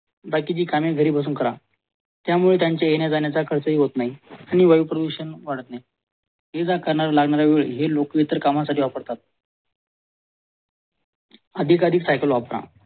बाकीचे कामे घरी बसून करा त्यामुळे त्यांचे येणं जाण्याचा खर्च हि होत नाही आणि वायू प्रदूषण वाढत नाही लागणाऱ्या वेळ लोक हित कामासाठी वापरतात